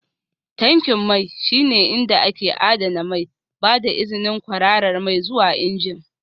Tankin mai shine inda ake adana mai, ba da izinin kwararar mai zuwa injin